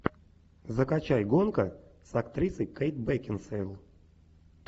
закачай гонка с актрисой кейт бекинсейл